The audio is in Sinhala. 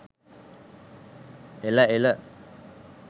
එල එල.